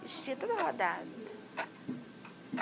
Vestido todo rodado.